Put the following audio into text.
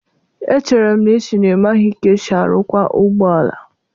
Echere m na ị sị na ị maghị ka esi arụkwa ụgbọ ala?